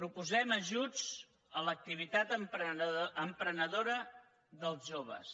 proposem ajuts a l’activitat emprenedora dels joves